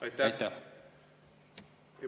Aitäh!